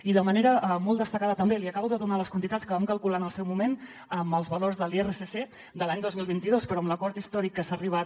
i de manera molt destacada també li acabo de donar les quantitats que vam calcular en el seu moment amb els valors de l’irsc de l’any dos mil vint dos però amb l’acord històric a què s’ha arribat